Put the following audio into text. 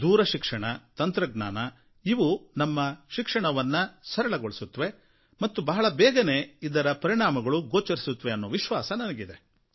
ದೂರಶಿಕ್ಷಣ ತಂತ್ರಜ್ಞಾನ ಇವು ನಮ್ಮ ಶಿಕ್ಷಣವನ್ನು ಸರಳಗೊಳಿಸುತ್ತವೆ ಮತ್ತು ಬಹಳ ಬೇಗನೆ ಇದರ ಪರಿಣಾಮಗಳೂ ಗೋಚರಿಸುತ್ತವೆ ಅನ್ನೋ ವಿಶ್ವಾಸ ನನಗಿದೆ